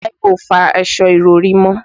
Táíwò fọ aṣọ ìrọ̀rí mọ́.